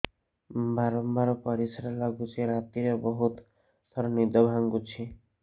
ବାରମ୍ବାର ପରିଶ୍ରା ଲାଗୁଚି ରାତିରେ ବହୁତ ଥର ନିଦ ଭାଙ୍ଗୁଛି